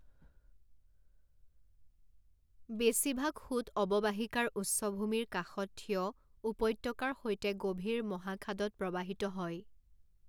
বেছিভাগ সোঁত অৱবাহিকাৰ উচ্চভূমিৰ কাষত থিয় উপত্যকাৰ সৈতে গভীৰ মহাখাদত প্ৰৱাহিত হয়।